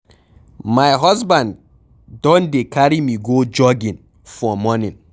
My husband Don dey carry me go jogging for morning